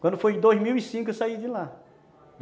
Quando foi em dois mil e cinco, eu saí de lá.